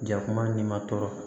Jakuma ni ma tɔɔrɔ